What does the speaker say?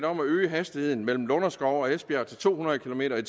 om at øge hastigheden mellem lunderskov og esbjerg til to hundrede kilometer